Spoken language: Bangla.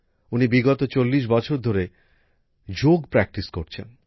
উনি বিগত ৪০ বছর ধরে যোগাভ্যাস করছেন